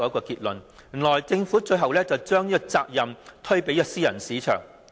原來政府最後把責任推卸予私人市場。